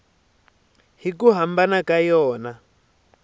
hi ku hambana ka yona